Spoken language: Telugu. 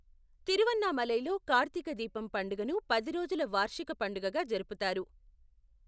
తిరువన్నామలైలో కార్తీక దీపం పండుగను పది రోజుల వార్షిక పండగగా జరుపుతారు.